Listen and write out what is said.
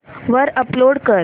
वर अपलोड कर